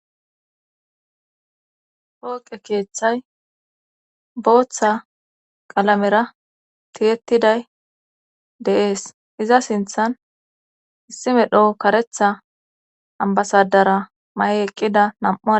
Pooqe keeththay booththa qalamera tiyettiday deees iza sinthan issi medho karetha ambasadara ma7e eqqida nam7u ade